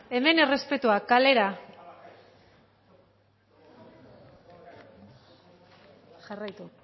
hemen errespetua kalera jarraitu